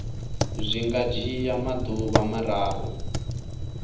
zwi nga dzhia maḓuvha mararu